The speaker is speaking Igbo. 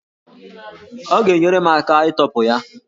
Ọ ga-enyere m aka ịtọpụ ya